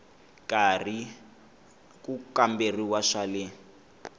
karhi ku kamberiwa swa le